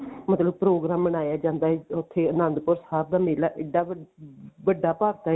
ਮਤਲਬ ਪ੍ਰੋਗਰਾਮ ਮਨਾਇਆ ਜਾਂਦਾ ਹੈ ਉੱਥੇ ਆਨੰਦਪੁਰ ਸਾਹਿਬ ਦਾ ਮੇਲਾ ਇੱਡਾ ਵੱਡਾ ਭਰਦਾ ਹੈ